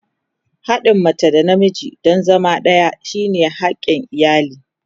Haɗin mace da namiji don zama ɗaya shine hakin iyali.